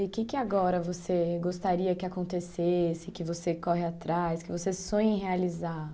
E o que que agora você gostaria que acontecesse, que você corre atrás, que você sonhe em realizar?